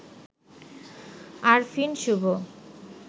Arfin Shubho